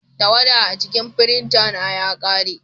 Tawada a cikin firinta na ya ƙare.